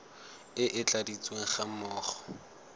e e tladitsweng ga mmogo